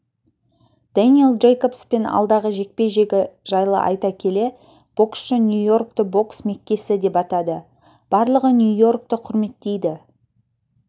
дэниэл джейкобспен алдағы жекпе-жегі жайлы айта келе боксшы нью-йоркті бокс меккесі деп атады барлығы нью-йоркті құрметтейді